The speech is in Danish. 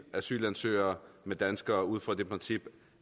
asylansøgere med danskere ud fra det princip